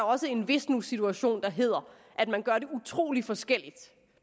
også en hvis nu situation der hedder at man gør det utrolig forskelligt